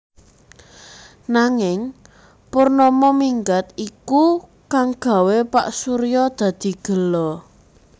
Nanging Purnama minggat iku kang gawé Pak Surya dadi gela